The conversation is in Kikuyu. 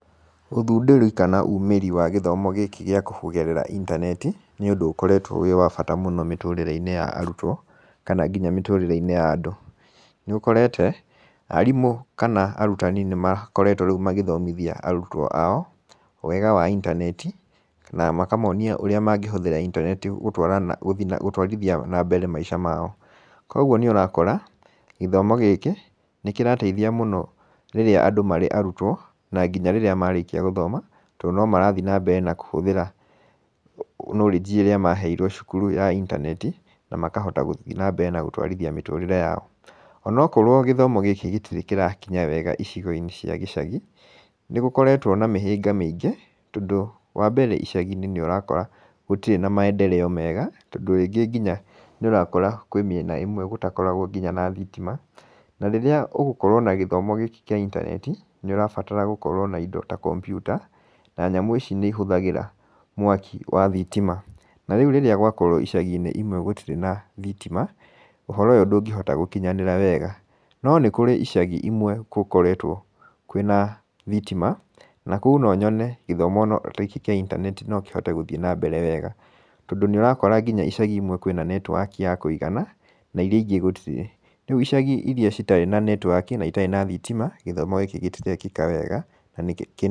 Ũthundũri kana umĩri wa gĩthomo gĩkĩ gĩa kũgerera intaneti, nĩũndũ ũkoretwo wĩ wa bata mũno mĩtũrĩre-inĩ ya arutwo kana nginya mĩtũrĩre-inĩ ya andũ. Nĩũkorete, arimũ kana arutani nĩmakoretwo rĩu magĩthomithia arutwo ao wega wa intaneti kana makamonia ũrĩa mangĩhũthĩra intaneti gũtwarana gũtwarithia na mbere maica mao, kuoguo nĩũrakora gĩthomo gĩkĩ nĩkĩrateithia mũno rĩrĩa andũ marĩ arutwo na nginya rĩrĩa marĩkia gũthoma tondũ no marathiĩ na mbere na kũhũthĩra knowledge ĩrĩa maheirwo cukuru ya intaneti na makahota gũthiĩ na mbere na gũtwarithia mĩtũrĩre yao. Onokorwo gĩthomo gĩkĩ gĩtirĩ kĩrakinya wega icigo-inĩ cia gĩcagi, nĩgũkoretwo na mĩhĩnga mĩingĩ, tondũ wambere icagi-inĩ nĩũrakora gũtirĩ na maendereo mega, tondũ rĩngĩ nginya nĩũrakora kwĩ mĩena ĩmwe gũtakoragwo nginya na thitima, na rĩrĩa ũgũkorwo na gĩthomo gĩkĩ kĩa intaneti, nĩũrabatara gũkorwo na indo ta kompiuta, na nyamũ ici nĩihũthagĩra mwaki wa thitima, na rĩu rĩrĩa gwakorwo icagi-inĩ imwe gũtirĩ na thitima, ũhoro ũyũ ndũngĩhota gũkinyanĩra wega, no nĩ kũrĩ icagi imwe gũkoretwo kwĩna thitima na kũu no nyone gĩthomo ta gĩkĩ kĩa intaneti no kĩhote gũthiĩ na mbere wega, tondũ nĩũrakora nginya icagi imwe kwĩna netiwaki ya kũigana na iria ingĩ gũtirĩ. Rĩu icagi iria citarĩ na netiwaki na itarĩ na thitima, gĩthomo gĩkĩ gĩtirekĩka wega na nĩ.